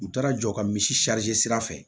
U taara jɔ ka misi sira fɛ